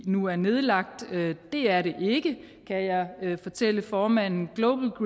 nu er nedlagt det er det ikke kan jeg fortælle formanden